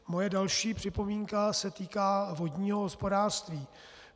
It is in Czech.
Moje další připomínka se týká vodního hospodářství.